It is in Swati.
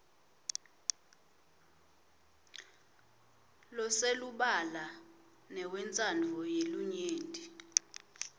loselubala newentsandvo yelinyenti